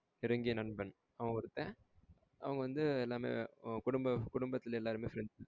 நெருங்கிய நண்பன் அவன் ஒருத்தன் அவன் வந்து எல்லாமே குடும்ப குடும்பத்துல எல்லாருமே friends